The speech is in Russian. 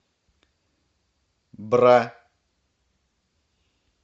бра